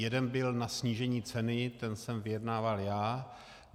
Jeden byl na snížení ceny, ten jsem vyjednával já.